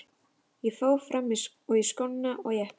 Ég fór fram og í skóna og jakkann.